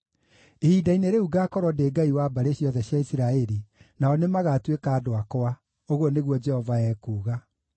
“Ihinda-inĩ rĩu ngaakorwo ndĩ Ngai wa mbarĩ ciothe cia Isiraeli, nao nĩmagatuĩka andũ akwa,” ũguo nĩguo Jehova ekuuga.